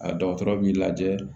A dɔgɔtɔrɔ b'i lajɛ